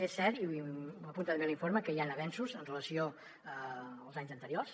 és cert i ho apunta també l’informe que hi han avenços amb relació als anys anteriors